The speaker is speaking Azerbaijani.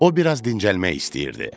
O biraz dincəlmək istəyirdi.